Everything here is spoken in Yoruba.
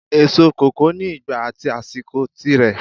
Èso kòkó ni ìgbà at àsìkò tí rẹ